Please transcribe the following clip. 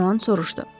De Rohan soruşdu.